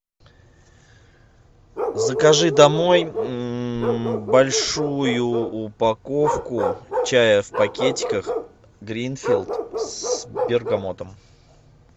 закажи домой большую упаковку чая в пакетиках гринфилд с бергамотом